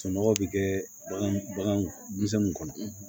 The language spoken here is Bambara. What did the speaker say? Soɔgɔ bi kɛ bagan bagan denmisɛnninw kɔnɔ